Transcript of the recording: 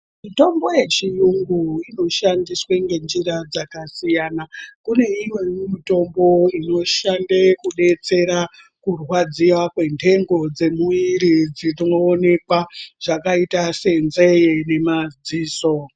Mitombo yechiyungu inoshandiswa ngenjira dzakasiyana. Kune imweni mitombo inoshande kubetsera kurwadziws kwentengo dzemuviri dzinoonekwa zvakaita senzee nemadziso.